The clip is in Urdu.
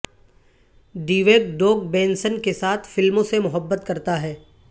ڈیوگ ڈوگ بینسن کے ساتھ فلموں سے محبت کرتا ہے